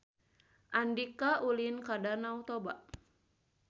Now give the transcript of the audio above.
Andika ulin ka Danau Toba